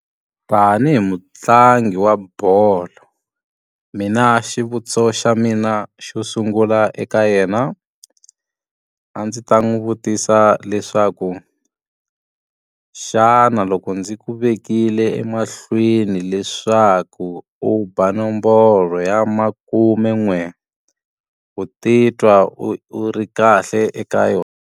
Tanihi mutlangi wa bolo, mina xivutiso xa mina xo sungula eka yena. A ndzi ta n'wi vutisa leswaku xana loko ndzi ku vekile emahlweni leswaku u ba nomboro ya makume n'we, ku titwa u u ri kahle eka yona?